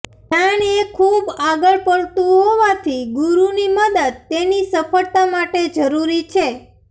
ધ્યાન એ ખૂબ આગળ પડતું હોવાથી ગુરુની મદદ તેની સફળતા માટે જરૂરી છે